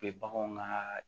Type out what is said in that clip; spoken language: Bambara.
Be baganw ka